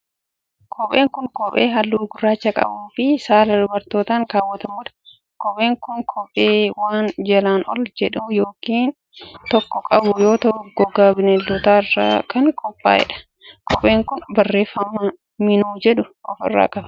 Kopheen kun, kophee haalluu gurraacha qabuu fi saala dubartootaan kaawwatamuu dha. Kopheen kun, kophee waan jalaan ol jedhaa yokin taakkoo qabu yoo ta'u, gogaa bineeldotaa irraa kan qophaa'e dha. Kopheen kun, barreeffama Minu jedhu of irraa qaba.